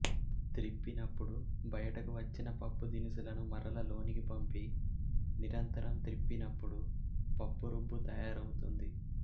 త్రిప్పినపుడు బయటకు వచ్చిన పప్పు దినుసులను మరల లోనికి పంపి నిరంతరం త్రిప్పినపుడు పప్పురుబ్బు తయారవుతుంది